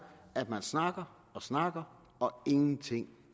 at man snakker og snakker og ingenting